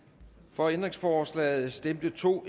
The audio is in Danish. for ændringsforslaget stemte to